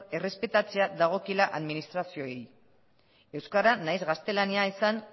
errespetatzea dagokiela administrazioei euskara naiz gaztelania izan